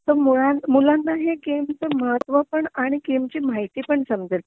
तर मूला मुलांना हे गेमच महत्व पण आणि गेमची माहिती पण समजेल